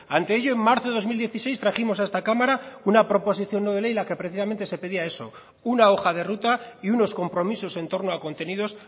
ante ello en marzo del dos mil dieciséis trajimos a esta cámara una proposición no de ley en la que precisamente se pedía eso una hoja de ruta y unos compromisos en torno a contenidos